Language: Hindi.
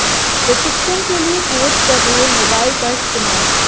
प्रशिक्षण के लिए कोच कर रहे मोबाइल का इस्तेमाल